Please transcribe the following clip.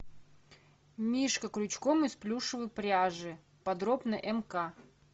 мишка крючком из плюшевой пряжи подробно мк